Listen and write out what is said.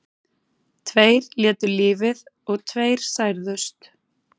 Tveir létu lífið og tveir særðust